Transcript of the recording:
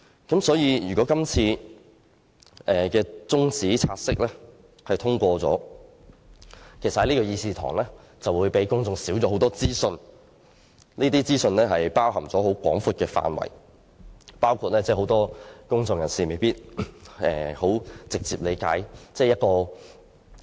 因此，如果這次中止待續議案獲得通過，議事堂可以帶給公眾的資訊便會減少，而可能牽涉的資訊內容範圍廣泛，其中包括很多公眾人士未必能夠直接理解的事宜。